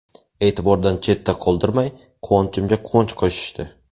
E’tibordan chetda qoldirmay, quvonchimga quvonch qo‘shishdi.